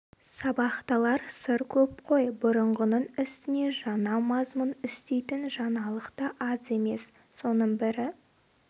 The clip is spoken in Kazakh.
сабақталар сыр көп қой бұрынғының үстіне жаңа мазмұн үстейтін жаңалық та аз емес соның бірі